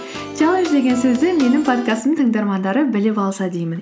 чаллендж деген сөзді менің подкастымның тыңдармандары біліп алса деймін